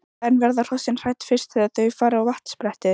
En verða hrossin hrædd fyrst þegar þau fara á vatnsbrettið?